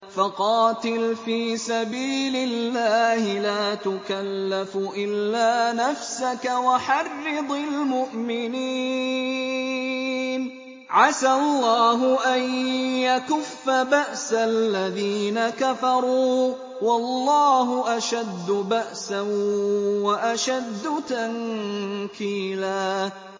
فَقَاتِلْ فِي سَبِيلِ اللَّهِ لَا تُكَلَّفُ إِلَّا نَفْسَكَ ۚ وَحَرِّضِ الْمُؤْمِنِينَ ۖ عَسَى اللَّهُ أَن يَكُفَّ بَأْسَ الَّذِينَ كَفَرُوا ۚ وَاللَّهُ أَشَدُّ بَأْسًا وَأَشَدُّ تَنكِيلًا